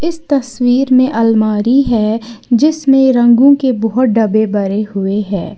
इस तस्वीर में अलमारी है जिसमें रंगों के बहोत डब्बे भरे हुए हैं।